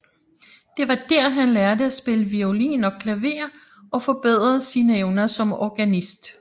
Det var dér han lærte at spille violin og klaver og forbedrede sine evner som organist